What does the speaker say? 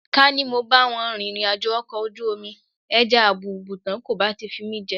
Ká ní mo bá wọn rìnrìnàjò ọkọ̀ ojú omi ẹja àbùùùtán kò bá ti fi mí jẹ.